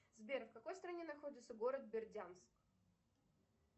сбер в какой стране находится город бердянск